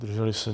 Zdrželi se?